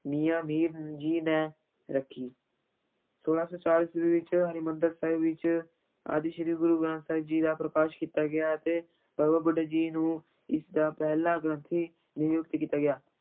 ਮੀਆਂ ਮੀਰ ਜੀ ਨੇ ਰੱਖੀ ਛੋਲਾਂ ਸੌ ਚਾਰ ਈਸਵੀ ਵਿੱਚ ਹਰਿਮੰਦਰ ਸਾਹਿਬ ਵਿੱਚ ਆਦਿ ਸ੍ਰੀ ਗੁਰੂ ਗ੍ਰੰਥ ਸਾਹਿਬ ਜੀ ਦਾ ਪ੍ਰਕਾਸ਼ ਕੀਤਾ ਗਿਆ ਅਤੇ ਬਾਬਾ ਬੁੱਢਾ ਜੀ ਨੂੰ ਇਸ ਦਾ ਪਹਿਲਾ ਗ੍ਰੰਥੀ ਨਿਯੁਕਤ ਕੀਤਾ ਗਿਆ।